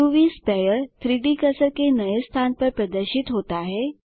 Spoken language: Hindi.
उव स्पेयर 3Dकर्सर के नए स्थान पर प्रदर्शित होता है